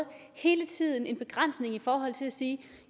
hele tiden en begrænsning i forhold til at sige